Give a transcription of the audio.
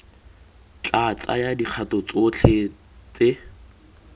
tla tsaya dikgato tdotlhe tse